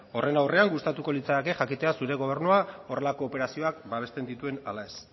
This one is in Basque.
horren aurrean gustatuko litzaidake jakitea zure gobernuak horrelako operazioak babesten dituen ala ez